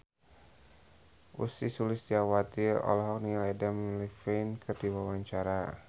Ussy Sulistyawati olohok ningali Adam Levine keur diwawancara